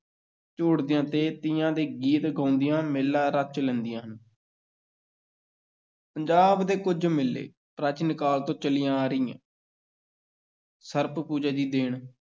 ਝੂਟਦੀਆਂ ਤੇ ਤੀਆਂ ਦੇ ਗੀਤ ਗਾਉਂਦੀਆਂ, ਮੇਲਾ ਰਚ ਲੈਂਦੀਆਂ ਹਨ ਪੰਜਾਬ ਦੇ ਕੁਝ ਮੇਲੇ, ਪ੍ਰਾਚੀਨ ਕਾਲ ਤੋਂ ਚੱਲੀਆਂ ਆ ਰਹੀਆਂ ਸਰਪ ਪੂਜਾ ਦੀ ਦੇਣ